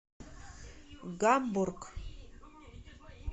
гамбург